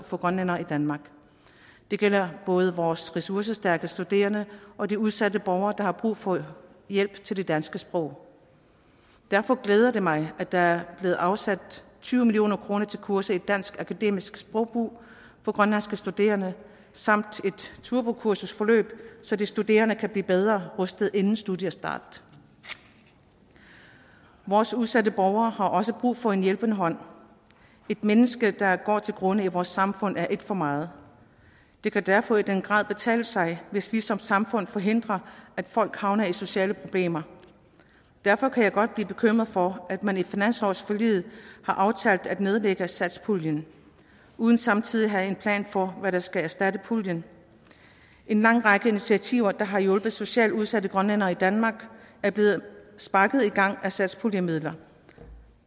for grønlændere i danmark det gælder både vores ressourcestærke studerende og de udsatte borgere der har brug for hjælp til det danske sprog derfor glæder det mig at der er blevet afsat tyve million kroner til kurser i dansk akademisk sprogbrug for grønlandske studerende samt et turbokursusforløb så de studerende kan blive bedre rustet inden studiestart vores udsatte borgere har også brug for en hjælpende hånd ét menneske der går til grunde i vores samfund er ét for meget det kan derfor i den grad betale sig hvis vi som samfund forhindrer at folk havner i sociale problemer derfor kan jeg godt blive bekymret for at man i finanslovsforliget har aftalt at nedlægge satspuljen uden samtidig at have en plan for hvad der skal erstatte puljen en lang række initiativer der har hjulpet socialt udsatte grønlændere i danmark er blevet sparket i gang af satspuljemidler